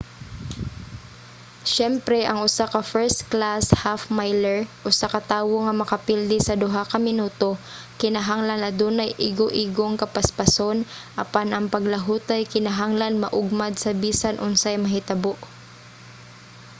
siyempre ang usa ka first-class half-miler usa ka tawo nga makapilde sa duha ka minuto kinahanglan adunay igoigong kapaspason apan ang paglahutay kinahanglan maugmad sa bisan unsay mahitabo